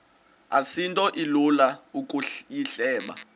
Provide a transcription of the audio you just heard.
asinto ilula ukuyihleba